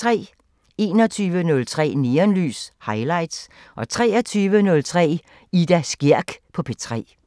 21:03: Neonlys – Highlights 23:03: Ida Skjerk på P3